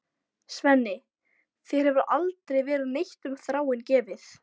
Svenni, þér hefur aldrei verið neitt um Þráin gefið.